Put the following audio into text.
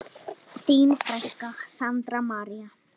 Þín frænka, Sandra María.